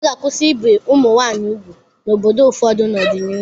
A ga-akwụsị ibi ụmụ nwaanyị úgwù n'obodo ụfọdụ n'ọdịnihu.